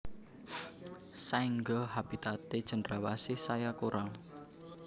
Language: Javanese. Saéngga habitaté cendrawasih saya kurang